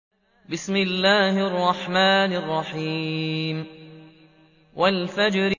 وَالْفَجْرِ